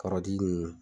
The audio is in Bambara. Kɔrɔdi nunnu